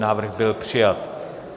Návrh byl přijat.